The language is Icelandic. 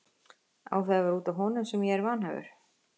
Á það að vera út af honum sem ég er vanhæfur?